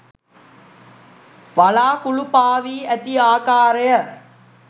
වළාකුලු පාවී ඇති ආකාරය